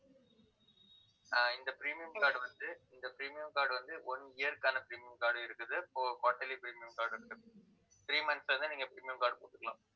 ஆஹ் இந்த premium card வந்து, இந்த premium card வந்து, one year க்கான premium card உம் இருக்குது quarterly premium card இருக்கு three month ல இருந்து, நீங்க premium card போட்டுக்கலாம்